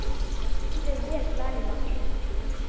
Þú stendur þig vel, Lalíla!